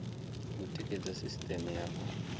u tikedza sisiteme ya u